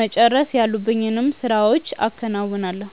መጨረስ ያሉብኝን ስራዎችም አከናውናለሁ።